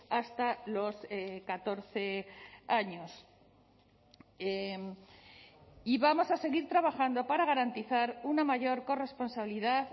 hasta los catorce años y vamos a seguir trabajando para garantizar una mayor corresponsabilidad